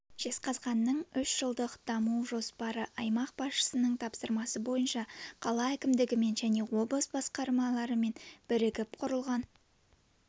жезқазғанның үш жылдық даму жоспары аймақ басшысының тапсырмасы бойынша қала әкімдігімен және облыс басқармаларымен бірігіп құрылған